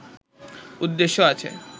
উদ্দেশ্য আছে